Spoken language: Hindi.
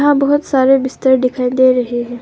बहोत सारे बिस्तर दिखाई दे रहे हैं।